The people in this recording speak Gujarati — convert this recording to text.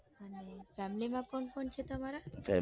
અને family માં કોણ કોણ છે તમારા